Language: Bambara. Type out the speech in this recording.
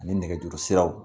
Ani nɛgɛjuru siraw